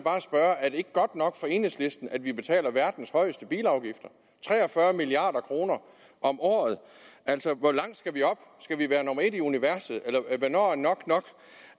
ikke godt nok for enhedslisten at vi betaler verdens højeste bilafgifter tre og fyrre milliard kroner om året altså hvor langt skal vi op skal vi være nummer et i universet eller hvornår er nok nok